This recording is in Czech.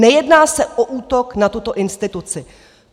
Nejedná se o útok na tuto instituci."